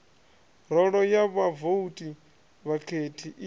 rolo ya vhavouti vhakhethi i